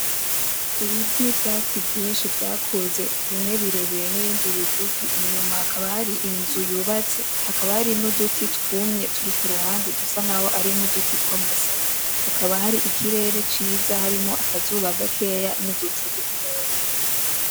Ibiti n'ivyatsi vyinshi vyakuze, bimwe birebire n'ibindi bigufi. Inyuma hakaba hari inzu yubatse . Hakaba hari n'uduti twumye turi ku ruhande dusa nk'aho ari uduti tw'amasaka. Hakaba hari ikirere ciza harimwo akazuba gakeya n'uducu dukeya.